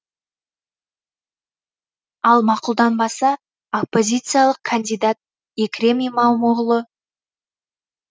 ал мақұлданбаса оппозициялық кандидат екрем имамоғлы